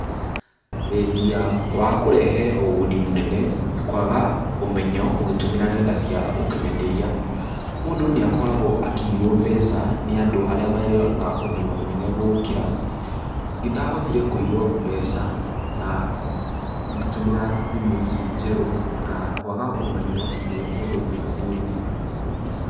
Thengi ya wa kũrehe ũguni munene, kwaga ũmenyo ũgitũmira nyenda cia ukinyaniria, mũndũ ni akoragwo akiinywo mbeca ni andũ aria mari na ũmenyo mũnene gũgũkira. Nĩndahotire kũinywo mbeca, na ngĩtũmira thimũ ici njerũ na kwaga ũmenyo ni ũndũ ũmwe mũrũ mũno.